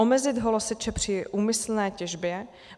Omezit holoseče při úmyslné těžbě.